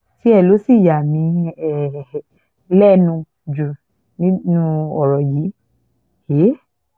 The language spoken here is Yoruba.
tiẹ̀ ló ṣì yà mí um lẹ́nu jù nínú ọ̀rọ̀ yìí um